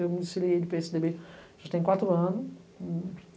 Eu me desfilei de pê esse dê bê já tem quatro anos.